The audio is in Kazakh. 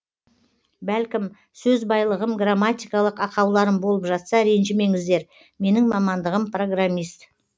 бәлкім сөз байлығым грамматикалық ақауларым болып жатса ренжімеңіздер менің мамандығым программист